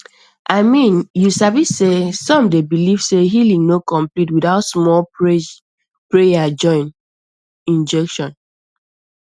i mean you sabi sey some dey believe say healing no complete without small prayer join injection